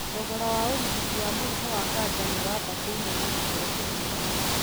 Thogora wa ũrigiti wa mũrimũ wa kanja nĩ wabatĩire na gĩkiro kinene mũno